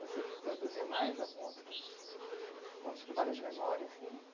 Você produziu mais algum outros um outro trabalho de memória, assim?